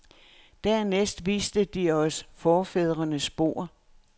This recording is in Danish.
Dernæst viste de os forfædrenes spor.